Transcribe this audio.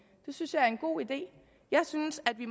synes jeg er en god idé jeg synes at vi